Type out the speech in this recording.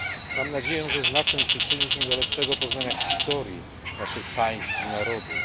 Mam nadzieję, że znak ten przyczyni się do lepszego poznania historii naszych państw i narodów.